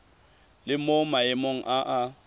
le mo maemong a a